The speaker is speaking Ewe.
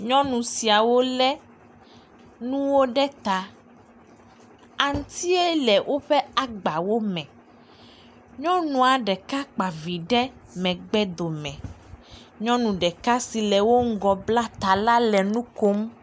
Nyɔnu siawo le nuwo ɖe ta. Aŋutia le woƒe agbawo me. Nyɔnua ɖeka kpavi ɖe megbe dome. Nyɔnu ɖeka si le wo ŋgɔ bla ta la, le nu kom.